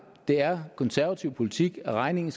det er konservativ politik at regningen